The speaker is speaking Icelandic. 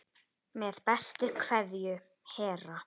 Með bestu kveðju Hera.